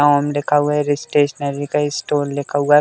नाम लिखा हुआ है। ये स्टेशनरी का स्टोर लिखा हुआ है।